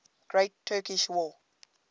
great turkish war